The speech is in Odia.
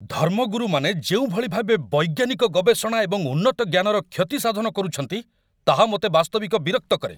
ଧର୍ମଗୁରୁମାନେ ଯେଉଁଭଳି ଭାବେ ବୈଜ୍ଞାନିକ ଗବେଷଣା ଏବଂ ଉନ୍ନତଜ୍ଞାନର କ୍ଷତି ସାଧନ କରୁଛନ୍ତି, ତାହା ମୋତେ ବାସ୍ତବିକ ବିରକ୍ତ କରେ।